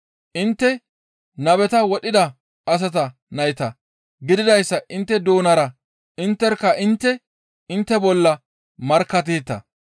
intte nabeta wodhida asata nayta gididayssa intte doonara intterkka intte intte bolla markkatteeta.